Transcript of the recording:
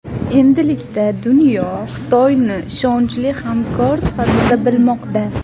Endilikda dunyo Xitoyni ishonchli hamkor sifatida bilmoqda.